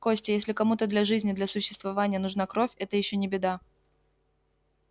костя если кому-то для жизни для существования нужна кровь это ещё не беда